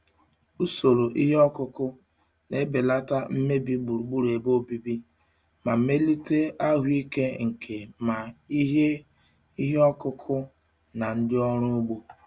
Usoro ihe ọkụkụ na-ebelata mmebi gburugburu ebe obibi ma melite ahụike nke ma ihe ihe ọkụkụ na ndị ọrụ ugbo.